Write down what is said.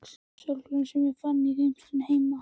sólgleraugu sem ég fann í geymslunni heima.